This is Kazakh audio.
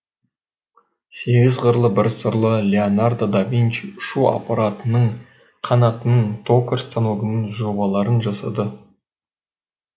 сегіз қырлы бір сырлы леонардо да винчи ұшу аппаратының қанатының токарь станогының жобаларын жасады